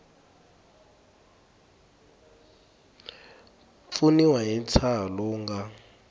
pfuniwa hi ntshaho lowu nga